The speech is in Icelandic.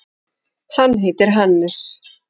Hann heitir Hannes.